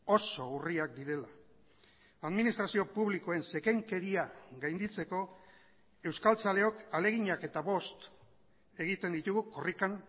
oso urriak direla administrazio publikoen zekenkeria gainditzeko euskaltzaleok ahaleginak eta bost egiten ditugu korrikan